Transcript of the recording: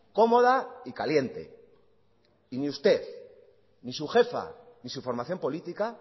cómoda y caliente y ni usted ni su jefa ni su formación política